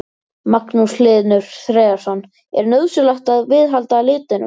Magnús Hlynur Hreiðarsson: Er nauðsynlegt að viðhalda litunum?